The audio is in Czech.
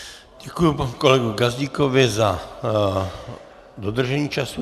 Děkuji panu kolegovi Gazdíkovi za dodržení času.